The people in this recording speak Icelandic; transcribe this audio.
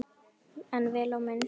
En vel á minnst.